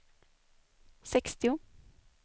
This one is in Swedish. sextio